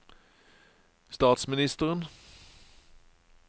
statsministeren